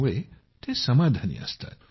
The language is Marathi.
त्यामुळे ते लोक संतुष्ट असतात